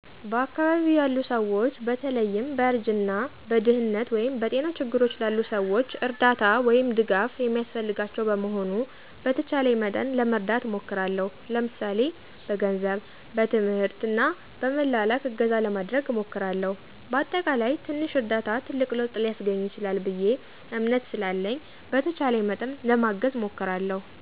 በአካባቢው ያሉ ስዎች በተለይም በእርጅና፣ በድህነት ወይም በጤና ችግርች ላሉ ሰዎች እርዳታ /ድጋፍ የሚስፈልጋቸው በመሆኑ በተቻለኝ መጠን ለመርዳት እሞክርለሁ ለምሳሌ፦ በገንዝብ፣ በትምህርት እና በመላላክ እገዛ ለማድረግ እሞክርለሁ። በአጠቃላይ ትንሽ እርዳታ ትልቅ ለውጥ ሊስገኝ ይችላል ብየ እምነት ስላለኝ በተቻለኝ መጠን ለማገዝ እሞክራለሁ።